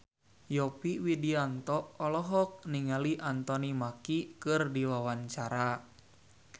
Yovie Widianto olohok ningali Anthony Mackie keur diwawancara